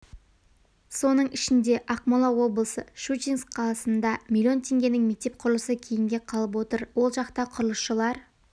соның ішінде ақмола облысы щучинск қаласында миллион теңгенің мектеп құрылысы кейінге қалып отыр ол жақта құрылысшылар